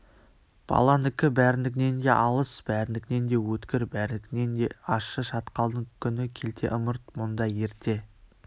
баланыкі бәрінікінен де алыс бәрінікінен де өткір бәрінікінен де ащы шатқалдың күні келте ымырт мұнда ерте